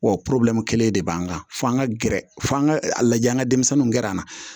Wa kelen de b'an kan fo an ka gɛrɛ f'an ka lajɛ an ka denmisɛnninw gɛrɛ an na